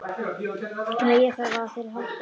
Þegar ég þarf á þér að halda.